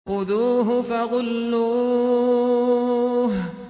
خُذُوهُ فَغُلُّوهُ